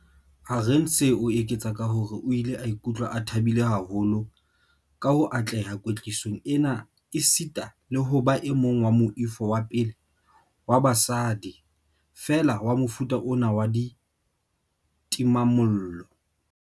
Arendse o eketsa ka hore o ile a ikutlwa a thabile haholo ka ho atleha kwetlisong ena esita le ho ba e mong wa moifo wa pele wa basadi feela wa mofuta ona wa ditimamollo.